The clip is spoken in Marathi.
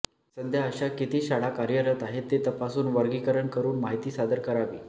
सध्या अशा किती शाळा कार्यरत आहेत ते तपासून वर्गीकरण करून माहिती सादर करावी